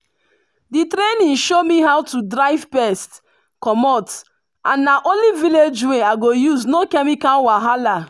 the training show me how to drive pest comot and na only village way i go use no chemical wahala.